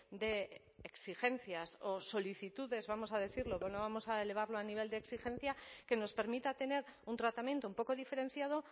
de exigencias o solicitudes vamos a decirlo no vamos a elevarlo a nivel de exigencia que nos permita tener un tratamiento un poco diferenciado